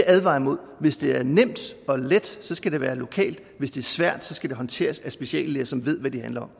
advare imod hvis det er nemt og let skal det være lokalt hvis det er svært skal det håndteres af speciallæger som ved hvad det handler